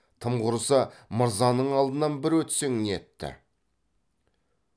тым құрыса мырзаның алдынан бір өтсең нетті